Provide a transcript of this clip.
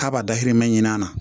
K'a b'a dahirimɛ ɲini a na